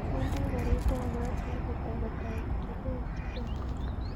Manda karit ab maat sait ata kotakyigei chicago